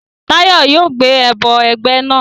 Tayo yoo gbe ẹbọ ẹgbẹ naa